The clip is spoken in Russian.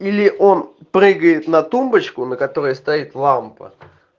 или он прыгает на тумбочку на которой стоит лампа